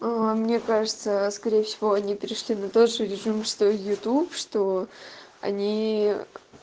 а мне кажется скорее всего они перешли на тот же режим что и ютуб что они